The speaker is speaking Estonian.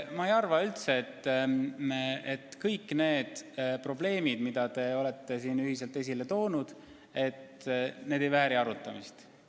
Ma ei arva üldse, et kõik need probleemid, mida te olete siin ühiselt esile toonud, ei vääri arutamist.